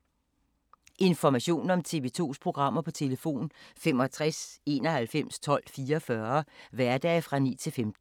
Information om TV 2's programmer: 65 91 12 44, hverdage 9-15.